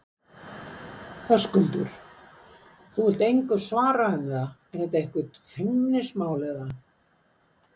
Höskuldur: Þú vilt engu svara um það, er þetta eitthvað feimnismál, eða?